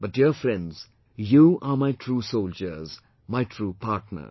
But dear friends, you are my true soldiers, my true partners